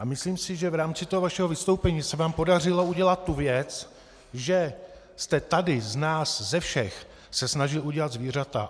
A myslím si, že v rámci toho vašeho vystoupení se vám podařilo udělat tu věc, že jste tady z nás ze všech se snažil udělat zvířata.